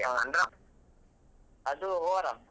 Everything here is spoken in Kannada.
ಅದು overarm .